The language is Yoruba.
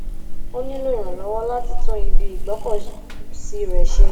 ó nílò ìrànlọwọ láti tún ibi ìgbọkọsí rẹ ṣe